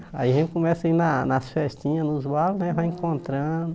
Aí a gente começa a ir na nas festinhas, nos bailes né, vai encontrando.